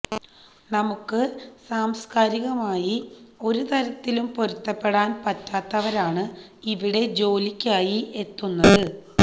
നമുക്ക് സാംസ്കാരികമായി ഒരുതരത്തിലും പൊരുത്തപ്പെടാൻ പറ്റാത്തവരാണ് ഇവിടെ ജോലിക്കായി എത്തുന്നത്